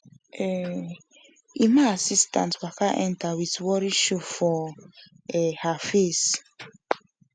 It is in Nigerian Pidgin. um emma assistant waka enter with worry show for um her face